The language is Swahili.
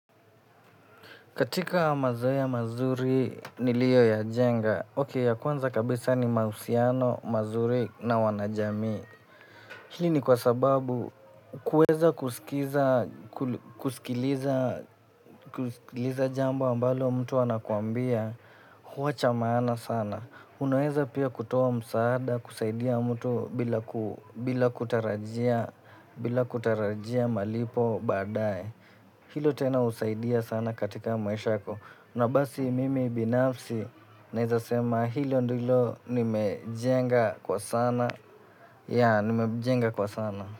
Katika mazoea mazuri niliyo yajenga. Ok ya kwanza kabisa ni mahusiano, mazuri na wanajamii. Hii ni kwa sababu kuweza kusikiza kusikiliza jambo ambalo mtu anakuambia huwa cha maana sana. Unaweza pia kutoa msaada kusaidia mtu bila kutarajia malipo baadaye. Hilo tena husaidia sana katika maisha yako. Na basi mimi binafsi naeza sema hilo ndilo nimejenga kwa sana. Ya, nimejenga kwa sana.